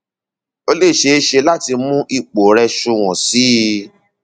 ó lè ṣeé ṣe láti mú ipò rẹ sunwọn sí i